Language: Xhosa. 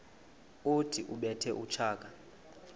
othi ubethe utshaka